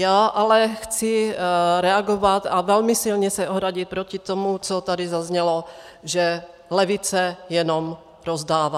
Já ale chci reagovat a velmi silně se ohradit proti tomu, co tady zaznělo, že levice jenom rozdává.